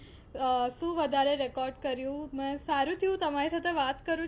અ શું વધારે record કર્યું. સારું થયું તમારી સાથે વાત કરું છુ